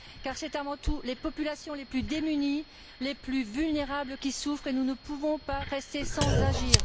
Car ce sont avant tout les populations les plus démunies, les plus vulnérables qui souffrent et nous ne pouvons pas rester sans agir.